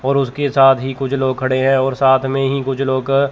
और उसके साथ ही कुछ लोग खड़े हैं और साथ में ही कुछ लोग--